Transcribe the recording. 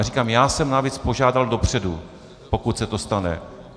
A říkám, já jsem navíc požádal dopředu, pokud se to stane.